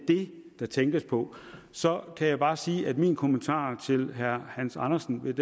der tænkes på så kan jeg bare sige at min kommentar til herre hans andersen lidt